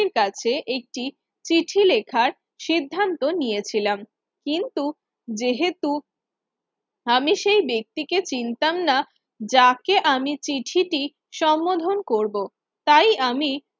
কাছে একটি চিঠি লেখা সিদ্ধান্ত নিয়েছিলাম কিন্তু যেহেতু আমি সেই ব্যক্তিকে চিনতাম না যাকে আমি চিঠি দি সম্বোধন করব তাই আমি